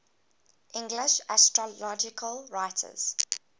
english astrological writers